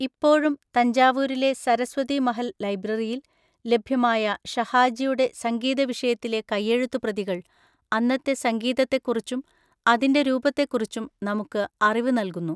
ഇപ്പോഴും തഞ്ചാവൂരിലെ സരസ്വതി മഹൽ ലൈബ്രറിയിൽ ലഭ്യമായ ഷഹാജിയുടെ സംഗീതവിഷയത്തിലെ കയ്യെഴുത്തുപ്രതികൾ അന്നത്തെ സംഗീതത്തെക്കുറിച്ചും അതിൻ്റെ രൂപത്തെക്കുറിച്ചും നമുക്ക് അറിവ് നൽകുന്നു.